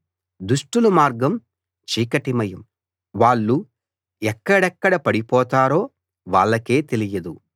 దుష్టుల మార్గం చీకటిమయం వాళ్ళు ఎక్కడెక్కడ పడిపోతారో వాళ్ళకే తెలియదు